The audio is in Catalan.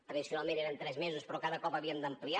tradicionalment eren tres mesos però cada cop l’havíem d’ampliar